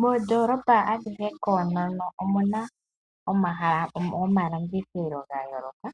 Moondoolopa adhihe koonono omuna omahala gomalandithilo ga yooloka